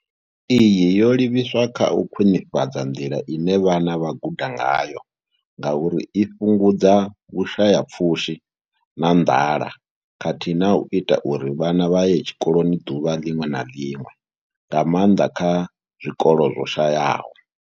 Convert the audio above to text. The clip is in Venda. Iyi yo livhiswa kha u khwinifhadza nḓila ine vhana vha guda ngayo ngauri i fhungudza vhushayapfushi na nḓala khathihi na u ita uri vhana vha ye tshikoloni ḓuvha ḽiṅwe na ḽiṅwe, nga maanḓa kha zwikolo zwo shayaho.